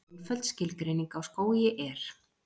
Einföld skilgreining á skógi er: